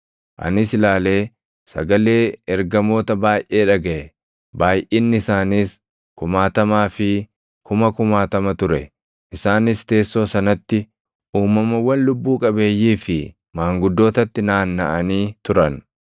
Anis ilaalee sagalee ergamoota baayʼee dhagaʼe; baayʼinni isaaniis kumaatamaa fi kuma kumaatama ture. Isaanis teessoo sanatti, uumamawwan lubbuu qabeeyyii fi maanguddootatti naannaʼanii turan.